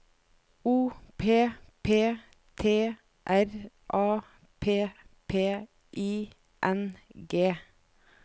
O P P T R A P P I N G